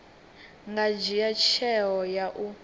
nga dzhia tsheo ya u